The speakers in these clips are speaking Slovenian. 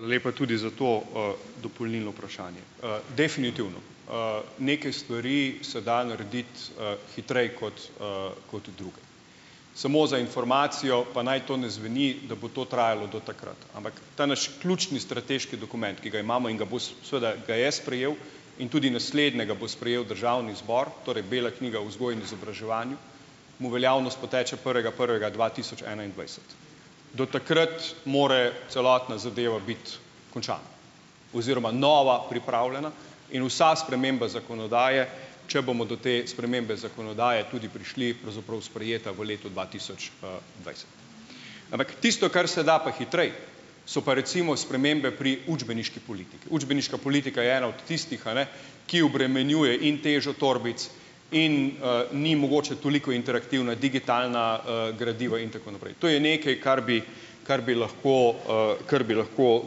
Hvala lepa tudi za to, dopolnilno vprašanje. Definitivno, neke stvari se da narediti, hitreje kot, kot druge. Samo za informacijo, pa naj to ne zveni, da bo to trajalo do takrat, ampak ta naš ključni strateški dokument, ki ga imamo in ga bo seveda ga je sprejel, in tudi naslednjega bo sprejel državni zbor, torej bela knjiga o vzgoji in izobraževanju, mu veljavnost poteče prvega prvega dva tisoč enaindvajset. Do takrat more celotna zadeva biti končana oziroma nova pripravljena in vsa sprememba zakonodaje, če bomo do te spremembe zakonodaje tudi prišli, pravzaprav sprejeta v letu dva tisoč, dvajset. Ampak tisto, kar se da pa hitreje, so pa recimo spremembe pri učbeniški politiki. Učbeniška politika je ena od tistih, a ne, ki obremenjuje in težo torbic in, ni mogoče toliko interaktivna, digitalna, gradiva in tako naprej. To je nekaj, kar bi kar bi lahko, kar bi lahko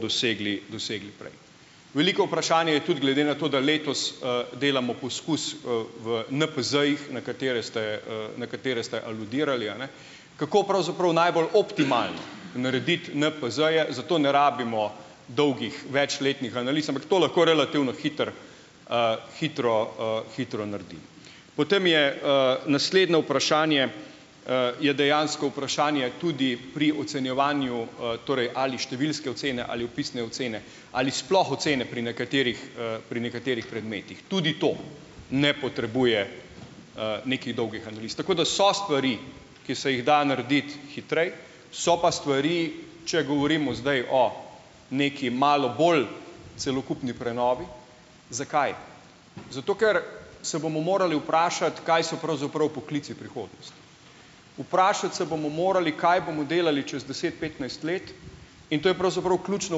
dosegli dosegli prej. Veliko vprašanje je tudi glede na to, da letos, delamo poskus, v NPZ-jih, na katere ste, na katere ste aludirali, a ne. Kako pravzaprav najbolj optimalno narediti NPZ-je - zato ne rabimo dolgih večletnih analiz, ampak to lahko relativno hitro, hitro, hitro naredimo. Potem je, naslednje vprašanje, je dejansko vprašanje tudi pri ocenjevanju, torej ali številske ocene ali opisne ocene, ali sploh ocene pri nekaterih, pri nekaterih predmetih. Tudi to ne potrebuje, nekih dolgih analiz. Tako da so stvari, ki se jih da narediti hitreje, so pa stvari, če govorimo zdaj o nekaj malo bolj celokupni prenovi - zakaj? Zato, ker se bomo morali vprašati, kaj so pravzaprav poklici prihodnosti? Vprašati se bomo morali, kaj bomo delali čez deset, petnajst let in to je pravzaprav ključno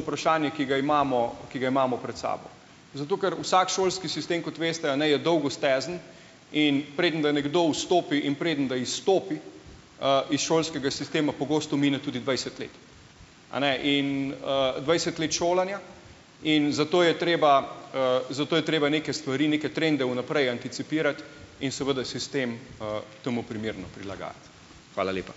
vprašanje, ki ga imamo, ki ga imamo pred sabo. Zato, ker vsak šolski sistem kot veste, a ne je dolgostezen, in preden, da nekdo vstopi, in preden, da izstopi, iz šolskega sistema, pogosto mine tudi dvajset let, eni in, dvajset let šolanja in zato je treba, zato je treba neke stvari, neke trende vnaprej anticipirati in seveda sistem, temu primerno prilagajati. Hvala lepa.